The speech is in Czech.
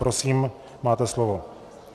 Prosím, máte slovo.